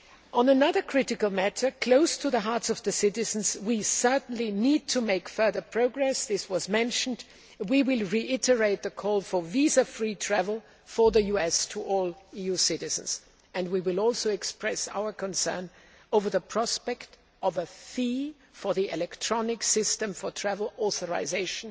On another critical matter close to the hearts of the citizens, we certainly need to make further progress, as was mentioned. We will reiterate the call for visa free travel to the US for all EU citizens we will express our concern over the prospect of a fee for the electronic system for travel authorisation